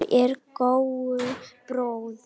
Hvítur er góu bróðir.